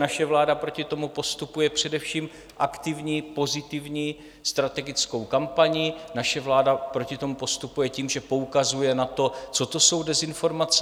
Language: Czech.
Naše vláda proti tomu postupuje především aktivní pozitivní strategickou kampaní, naše vláda proti tomu postupuje tím, že poukazuje na to, co to jsou dezinformace.